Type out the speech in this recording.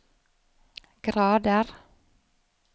grader